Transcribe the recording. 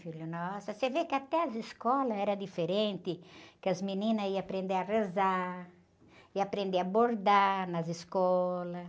filho, nossa, você vê que até as escolas eram diferentes, que as meninas iam aprender a rezar, iam aprender a bordar nas escolas.